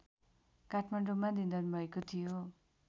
काठमाडौँमा निधन भएको थियो